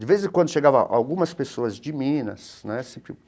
De vez em quando chegavam algumas pessoas de Minas, né?